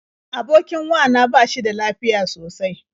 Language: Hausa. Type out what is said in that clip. Abokin wa na ba shi da lafiya sosai.